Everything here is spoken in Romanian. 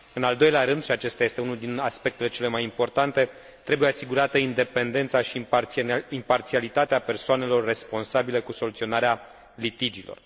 În al doilea rând și acesta este unul dintre aspectele cele mai importante trebuie asigurată independența și imparțialitatea persoanelor responsabile cu soluționarea litigiilor.